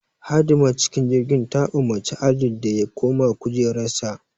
Hadimar cikin jirgin the umarci Adeel da ya koma kujerarsa